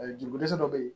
Jogo dɛsɛ dɔ bɛ yen